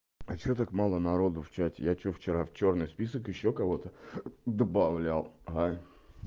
а что так мало народу в чате я что вчера в чёрный список ещё кого-то добавлял а